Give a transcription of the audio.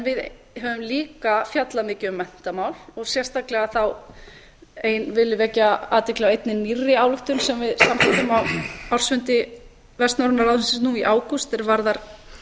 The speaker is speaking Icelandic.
við höfum líka fjallað mikið um menntamál sérstaklega þá vil ég vekja athygli á einni nýrri ályktun sem við samþykktum á ársfundi vestnorræna ráðsins nú í ágúst er varðar